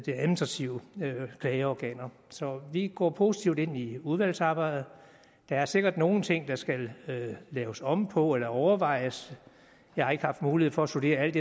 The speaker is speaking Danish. administrative klageorganer så vi går positivt ind i udvalgsarbejdet der er sikkert nogle ting der skal laves om på eller overvejes jeg har ikke haft mulighed for at studere alt